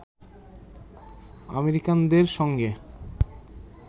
আমেরিকানদের সঙ্গে